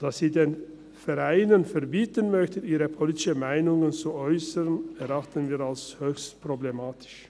Dass sie den Vereinen verbieten möchten, ihre politischen Meinungen zu äussern, erachten wir als höchst problematisch.